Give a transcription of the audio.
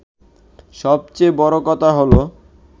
সবচেয়ে বড় কথা হলো